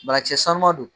Banakisɛ sanuman don